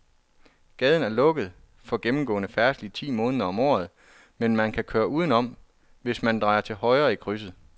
Gaden er lukket for gennemgående færdsel ti måneder om året, men man kan køre udenom, hvis man drejer til højre i krydset.